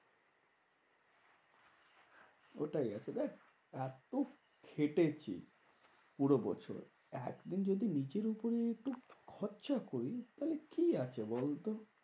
ওটাই আচ্ছা দেখ এত্ত খেটেছি পুরো বছর। একদিন যদি নিজের উপরে একটু খরচা করি, তাহলে কি আছে বলতো?